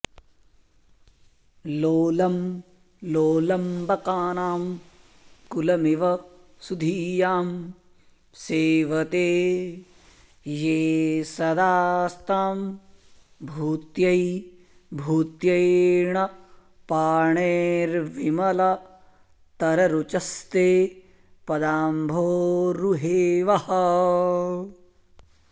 लोलं लोलम्बकानां कुलमिव सुधियां सेवते ये सदा स्तां भूत्यै भूत्यैणपाणेर्विमलतररुचस्ते पदाम्भोरुहे वः